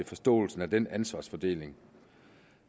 forståelsen af den ansvarsfordeling